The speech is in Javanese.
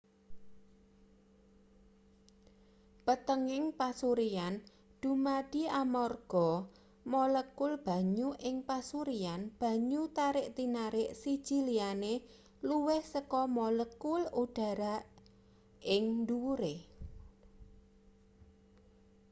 panthenging pasuryan dumadi amarga molekul banyu ing pasuryan banyu tarik-tinarik siji liyane luwih saka molekul udhara ing ndhuwure